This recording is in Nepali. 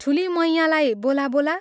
ठूली मैयाँलाई बोला बोला।